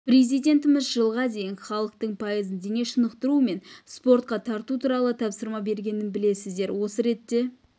президентіміз жылға дейін халықтың пайызын дене шынықтыру мен спортқа тарту туралы тапсырма бергенін білесіздер осы ретте